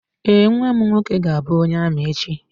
Ee, nnwa m nwoke ga-abụ onye amị echi.